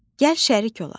Gəl şərik olaq.